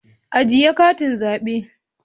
Ajiye katin zabe